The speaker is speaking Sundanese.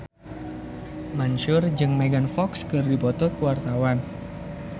Mansyur S jeung Megan Fox keur dipoto ku wartawan